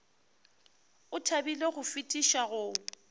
o thabile go fetiša go